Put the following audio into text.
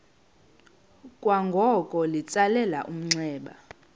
kwangoko litsalele umnxeba